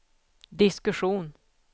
diskussion